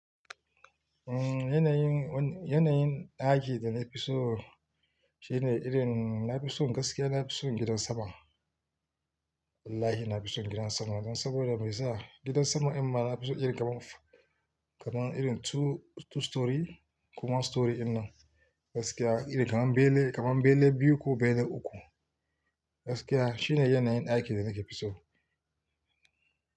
Umm yanayin, yanayin aiki da na fi so shine irin, na fi so gaskiya na fi so gidan sama. Wallahi na fi so gidan sama don saboda me yasa? Gidan sama in ma na fi so irin kaman, kaman irin two, two storey ko one storey in nan gaskiya irin kaman bele, kaman bele biyu ko bele uku. Gaskiya shine yanayin daiki da nake fi so.